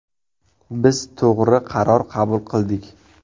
Biz to‘g‘ri qaror qabul qildik.